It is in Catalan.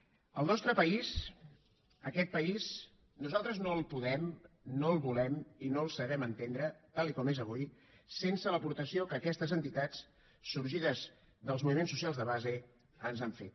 el nostre país aquest país nosaltres no el podem no el volem i no el sabem entendre tal com és avui sense l’aportació que aquestes entitats sorgides dels moviments socials de base ens han fet